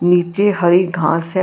ਨੀਚੇ ਹਰੀ ਘਾਸ ਹੈ।